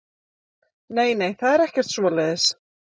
Nei, nei, það er ekkert svoleiðis.